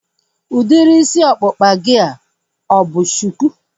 Udiri isi ọkpụkpa gị a ọ bụ shuku?